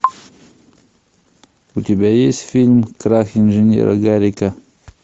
у тебя есть фильм крах инженера гарика